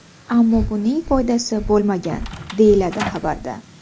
Ammo buning foydasi bo‘lmagan”, deyiladi xabarda.